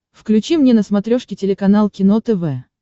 включи мне на смотрешке телеканал кино тв